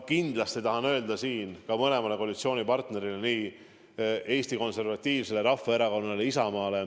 Kindlasti tahan siin öelda väga suure tänu ka mõlemale koalitsioonipartnerile, Eesti Konservatiivsele Rahvaerakonnale ja Isamaale.